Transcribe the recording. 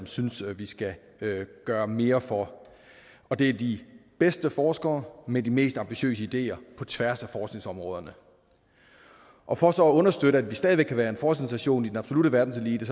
synes vi skal gøre mere for det er de bedste forskere med de mest ambitiøse ideer på tværs af forskningsområderne og for så at understøtte at vi stadig væk kan være en forskningsnation i den absolutte verdenselite